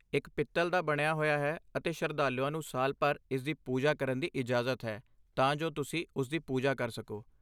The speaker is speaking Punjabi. ਇੱਕ ਪਿੱਤਲ ਦਾ ਬਣਿਆ ਹੋਇਆ ਹੈ ਅਤੇ ਸ਼ਰਧਾਲੂਆਂ ਨੂੰ ਸਾਲ ਭਰ ਇਸਦੀ ਪੂਜਾ ਕਰਨ ਦੀ ਇਜਾਜ਼ਤ ਹੈ, ਤਾਂ ਜੋ ਤੁਸੀਂ ਉਸਦੀ ਪੂਜਾ ਕਰ ਸਕੋ।